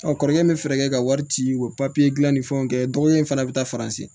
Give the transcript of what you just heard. kɔrɔkɛ bɛ fɛɛrɛ kɛ ka wari ci u ka papiye dilan ni fɛnw kɛ dɔgɔkɛ in fana bɛ taa faransi